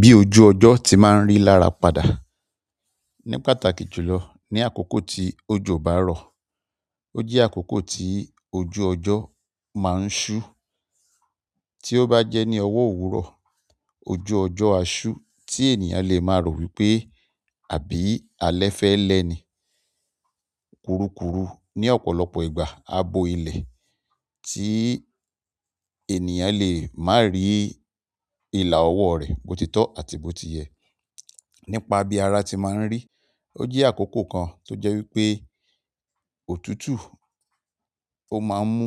Bí ojú ọjọ́ ti máa ń rí lára padà. Ní pàtàkì jùlọ ní àkókò tí òjò bá rọ̀, ó jẹ́ àkókò tí ojú ọjọ́ máa ń ṣú. Tí ó bá jẹ́ ní ọwọ́ òwúrọ̀, ojú ọjọ́ a ṣú tí ènìyàn le máa rò wípé àbí alẹ́ fẹ́ lẹ́ ni. Kuru kuru ní ọ̀pọ̀lọpọ̀ ìgbà, á bo ilẹ̀ tí ènìyàn lè má rí ìlà ọwọ́ rẹ̀ botitọ́ àti botiye. Nípa bí ara ti máa ń rí, ó jẹ́ àkókò kan tó jẹ́ wípé òtútù ó máa ń mú